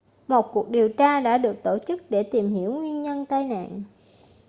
một cuộc điều tra đã được tổ chức để tìm hiểu nguyên nhân tai nạn